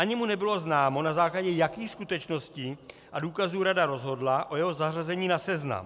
Ani mu nebylo známo, na základě jakých skutečností a důkazů Rada rozhodla o jeho zařazení na seznam.